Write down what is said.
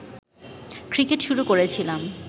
cricket শুরু করেছিলাম